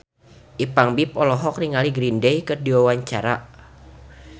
Ipank BIP olohok ningali Green Day keur diwawancara